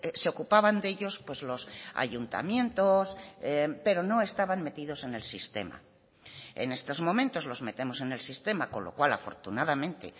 se ocupaban de ellos los ayuntamientos pero no estaban metidos en el sistema en estos momentos los metemos en el sistema con lo cual afortunadamente